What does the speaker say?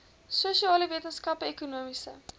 sosiale wetenskappe ekonomiese